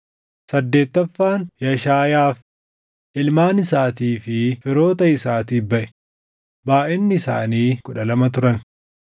saddeettaffaan Yashaayaaf, // ilmaan isaatii fi firoota isaatiif baʼe; // baayʼinni isaanii kudha lama turan